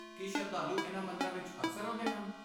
ਕੀ ਸ਼ਰਧਾਲੂ ਇਨ੍ਹਾਂ ਮੰਦਰਾਂ ਵਿੱਚ ਅਕਸਰ ਆਉਂਦੇ ਹਨ?